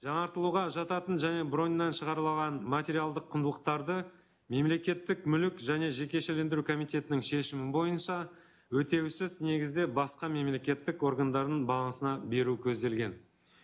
жаңартылуға жататын және броньнан шығарылған материалдық құндылықтарды мемлекеттік мүлік және жекешелендіру комитетінің шешімі бойынша өтеусіз негізде басқа мемлекеттік органдарының балансына беру көзделген